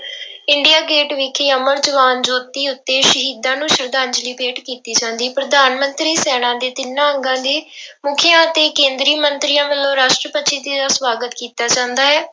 India Gate ਵਿਖੇ ਜੋਤੀ ਉੱਤੇ ਸ਼ਹੀਦਾਂ ਨੂੰ ਸਰਧਾਂਜਲੀ ਭੇਟ ਕੀਤੀ ਜਾਂਦੀ, ਪ੍ਰਧਾਨ ਮੰਤਰੀ ਸੈਨਾ ਦੇ ਤਿੰਨਾਂ ਅੰਗਾਂ ਦੇ ਮੁੱਖੀਆਂ ਤੇ ਕੇਂਦਰੀ ਮੰਤਰੀਆਂ ਵੱਲੋਂ ਰਾਸ਼ਟਰਪਤੀ ਜੀ ਦੀ ਸਵਾਗਤ ਕੀਤਾ ਜਾਂਦਾ ਹੈ।